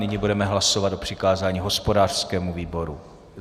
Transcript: Nyní budeme hlasovat o přikázání hospodářskému výboru.